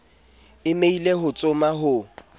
e meile ho tsoma ho